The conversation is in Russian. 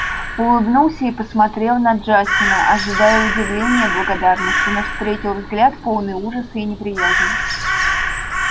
улыбнулся и посмотрел на джастина ожидая удивления благодарности но встретил взгляд полный ужаса и неприязни